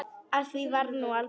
Af því varð nú aldrei.